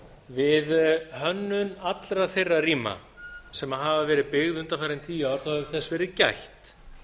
við hönnun allra þeirra rýma sem hafa verið byggð undanfarin tíu ár hefur þess verið gætt